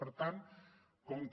per tant com que